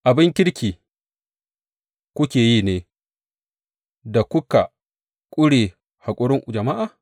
Abin kirki kuke yi ne da kuka ƙure haƙurin jama’a?